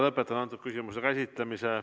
Lõpetan selle küsimuse käsitlemise.